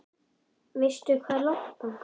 Veistu hvað er langt þangað?